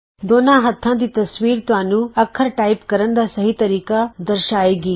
ਦੋਨਾਂ ਹੱਥਾਂ ਦੀ ਤਸਵੀਰ ਤੁਹਾਨੂੰ ਅੱਖਰ ਟਾਈਪ ਕਰਨ ਦਾ ਸਹੀ ਤਰੀਕਾ ਦਰਸ਼ਾਏ ਗੀ